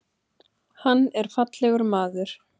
Hann er fallegur maður.